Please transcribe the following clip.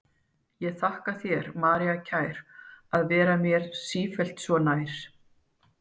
Ég þakka þér, María kær, að vera mér sífellt svo nær.